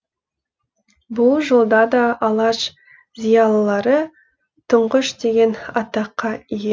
бұл жолда да алаш зиялылары тұңғыш деген атаққа ие